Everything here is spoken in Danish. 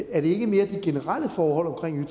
er det ikke mere de generelle forhold omkring